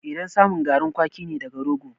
Idan samun garin kwaki ne daga rogo